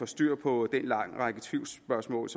styr på den lange række af tvivlspørgsmål